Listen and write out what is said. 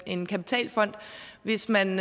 en kapitalfond hvis man